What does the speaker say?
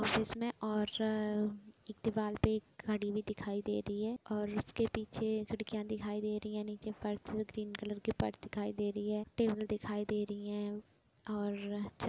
office में और एक दीवाल पे एक घड़ी भी दिखाई दे रही है और उसके पीछे खिड़कियां दिखाई दे रही है नीचे फर्श ग्रीन कलर कि फर्स दिखाई देरी है टेबल दिखाई दे रही है और छत --